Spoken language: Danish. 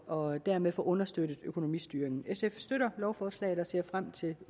og dermed få understøttet økonomistyringen sf støtter lovforslaget og ser frem til